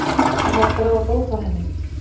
Er hægt að ráða bót á henni?